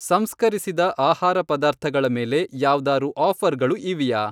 ಸಂಸ್ಕರಿಸಿದ ಆಹಾರ ಪದಾರ್ಥಗಳ ಮೇಲೆ ಯಾವ್ದಾರೂ ಆಫರ್ಗಳು ಇವೆಯಾ?